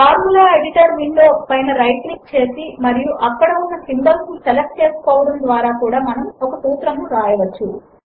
formula editor window పైన right click చేసి మరియు అక్కడ ఉన్న సింబాల్స్ ను సెలెక్ట్ చేసుకోవడము ద్వారా కూడా మనము ఒక సూత్రమును వ్రాయవచ్చు